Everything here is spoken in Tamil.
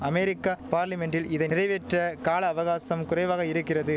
அமெரிக்கா பார்லிமென்டில் இதை நிறைவேற்ற கால அவகாசம் குறைவாக இருக்கிறது